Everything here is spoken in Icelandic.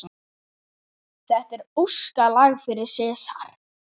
Þetta er óskalag fyrir Sesar.